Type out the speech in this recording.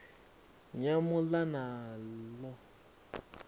nyamuḽanalo